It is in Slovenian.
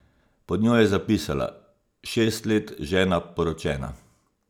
Pod njo je zapisala: ''Šest let žena poročena!